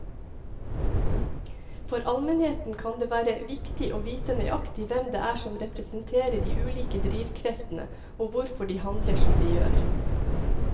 For allmennheten kan det være viktig å vite nøyaktig hvem det er som representerer de ulike drivkreftene og hvorfor de handler som de gjør.